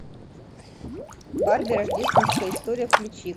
барби рождественская история включи